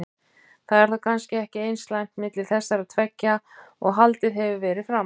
Það er þá kannski ekki eins slæmt milli þessara tveggja og haldið hefur verið fram?